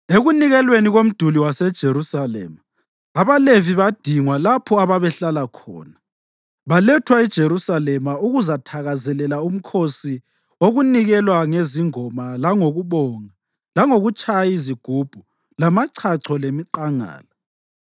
Ekunikelweni komduli waseJerusalema, abaLevi badingwa lapho ababehlala khona balethwa eJerusalema ukuzathakazelela umkhosi wokunikelwa ngezingoma langokubonga langokutshaya izigubhu lamachacho lemiqangala.